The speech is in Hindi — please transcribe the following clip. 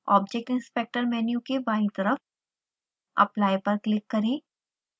object inspector मेन्यू के बायीं तरफ apply पर क्लिक करें